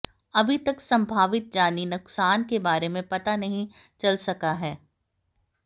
अभी तक संभावित जानी नुक़सान के बारे में पता नहीं चल सका है